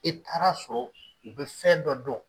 E taara sɔrɔ u bɛ fɛn dɔ dɔn